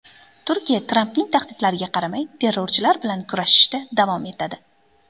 Turkiya Trampning tahdidlariga qaramay terrorchilar bilan kurashishda davom etadi.